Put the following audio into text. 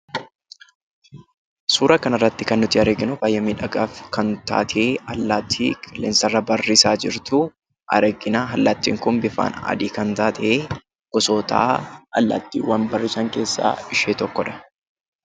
Suura kana irratti kan nuti arginu, baayyee miidhagaa kan taate suura allaattii qilleensa irra barrisaa jirtuu argina. Allaattiin Kun bifaan adii kan taate gosoota allaattiiwwan barrisan keessaa ishee tokkodha.